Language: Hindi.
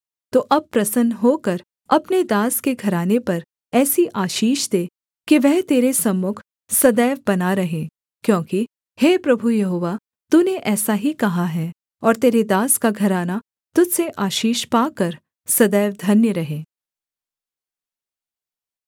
तो अब प्रसन्न होकर अपने दास के घराने पर ऐसी आशीष दे कि वह तेरे सम्मुख सदैव बना रहे क्योंकि हे प्रभु यहोवा तूने ऐसा ही कहा है और तेरे दास का घराना तुझ से आशीष पाकर सदैव धन्य रहे